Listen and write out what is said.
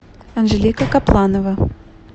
анжелика капланова